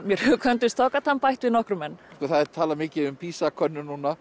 mér hugkvæmdust þá gat hann bætt við nokkrum enn það er talað mikið um PISA könnun núna